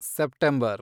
September